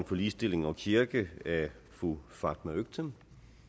for ligestilling og kirke af fru fatma øktem